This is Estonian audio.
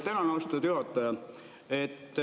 Tänan, austatud juhataja!